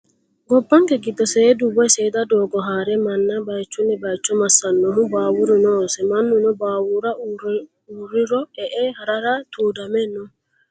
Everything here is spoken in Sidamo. Gobbanke giddo seedu woyi seeda doogo haare manna bayiichuyo bayiicho massannohu baawuru noose. Mannuno baawuru uurriro e"e harara tuudame no.